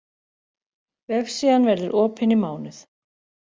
Vefsíðan verður opin í mánuð